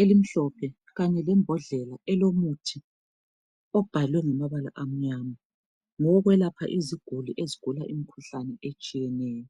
elimhlophe kanye lombodlela elomuthi obhalwe ngamabala amnyama, ngowokwelapha iziguli ezigula imikhuhlane etshiyeneyo.